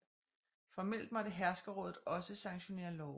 Formelt måtte herskerrådet også sanktionere love